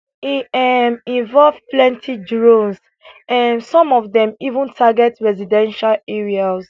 e um involve plenty drones um some of dem even target residential areas